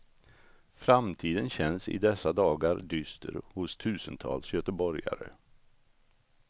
Framtiden känns i dessa dagar dyster hos tusentals göteborgare.